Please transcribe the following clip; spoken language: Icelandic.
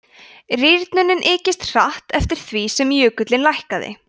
rýrnunin ykist hratt eftir því sem jökullinn lækkaði